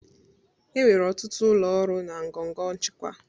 Enwere ọtụtụ ụlọ ọrụ na ngọngọ nchịkwa